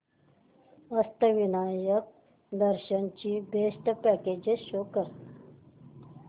अष्टविनायक दर्शन ची best packages show कर